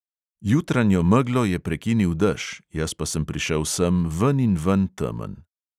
Jutranjo meglo je prekinil dež, jaz pa sem prišel sem veninven temen.